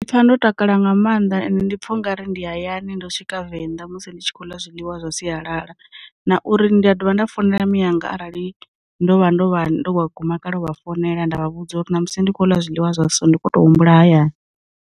Pfa ndo takala nga maanḓa ende ndi pfha u nga ri ndi hayani ndo swika venḓa musi ndi tshi khou ḽa zwiḽiwa zwa sialala, na uri ndi a dovha nda founela miyanga arali ndo vha ndo vha ndo guma kale vha founela nda vha vhudza uri na musi ndi khou ḽa zwiḽiwa zwa so ndi kho to humbula hayani.